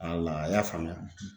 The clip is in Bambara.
Wala i y'a faamuya.